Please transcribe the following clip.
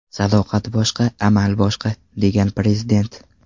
Sadoqat boshqa, amal boshqa”, degan Prezident.